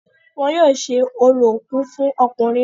wọn yóò ṣe orò òkú fún ọkùnrin náà